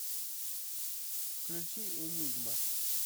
включи энигма